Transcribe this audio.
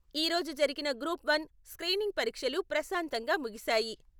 ఈ రోజు జరిగిన గ్రూప్ వన్ స్కీనింగ్ పరీక్షలు ప్రశాంతంగా ముగిసాయి.